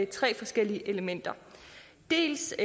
tre forskellige elementer dels